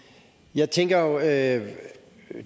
jeg tænker jo at